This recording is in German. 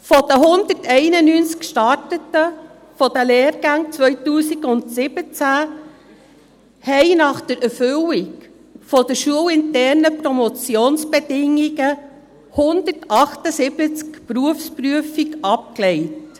Von den 191, die die Lehrgänge 2017 starteten, legten nach der Erfüllung der schulinternen Promotionsbedingungen 178 die Berufsprüfung ab.